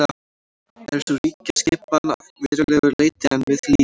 er sú ríkjaskipan að verulegu leyti enn við lýði